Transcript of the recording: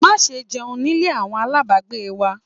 Má ṣe jẹun nílé àwọn aláàbágbé wa!